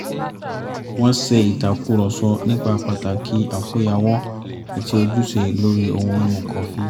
wọ́n ṣe ìtàkùrọ̀sọ nípa pàtàkì àkóyawọ́ àti ojúṣe lórí ohun mímu kọfí